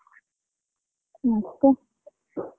ಮತ್ತೆ.